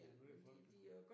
Der er meget forskel